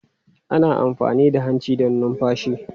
Ana amfani da hanci don numfashi.